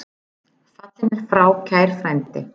Fallinn er frá kær frændi.